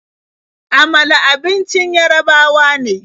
Amala abincin Yarabawa ne.